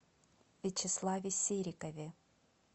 вячеславе серикове